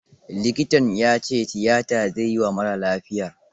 Likitan ya ce tiyata zai yi wa marar lafiyar.